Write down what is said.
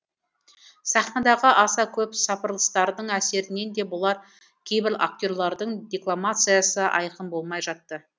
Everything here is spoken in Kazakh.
сахнадағы аса көп сапырылыстардың әсерінен де болар кейбір актерлардың декламациясы айқын болмай жатты